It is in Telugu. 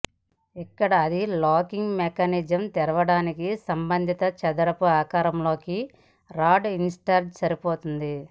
ఇక్కడ అది లాకింగ్ మెకానిజం తెరవడాన్ని సంబంధిత చదరపు ఆకారం లోకి రాడ్ ఇన్సర్ట్ సరిపోతుంది